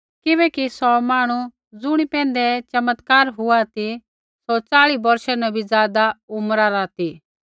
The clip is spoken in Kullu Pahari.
किबैकि सौ मांहणु ज़ुणी पैंधै ऐ चमत्कार हुआ ती सौ च़ाल़ी बौर्षा न बी ज़ादा उम्रा रा ती